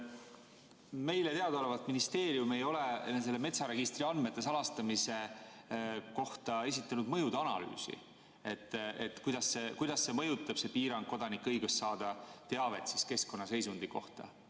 Meile teadaolevalt ministeerium ei ole selle metsaregistri andmete salastamise kohta esitanud mõjude analüüsi, kuidas mõjutab see piirang kodanike õigust saada teavet keskkonnaseisundi kohta.